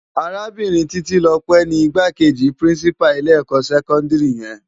Árábirin Titilope ni Igbákéji Pirinsipá ilé èkò sèkòndiri yèn